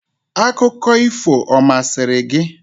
Akụkọ ifo ọ masịrị gị?